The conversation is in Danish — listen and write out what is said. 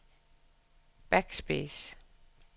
backspace